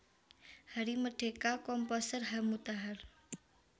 Hari Merdeka Komposer H Mutahar